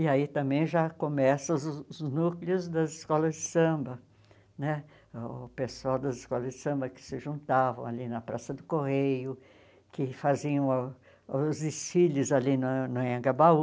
E aí também já começam os núcleos das escolas de samba né, o pessoal das escolas de samba que se juntavam ali na Praça do Correio, que faziam os desfiles ali no a no Anhangabaú.